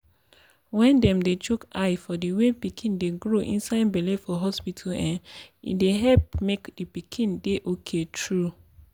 wen dem dey chook eye for the way pikin dey grow inside belle for hospita um dey help make d pikin dey ok tru